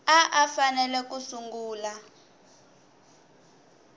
a a fanele ku sungula